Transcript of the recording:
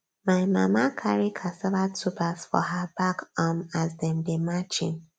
my mama carry cassava tubers for her back um as dem dey march in